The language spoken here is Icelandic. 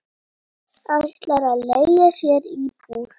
Ætlar að leigja sér íbúð.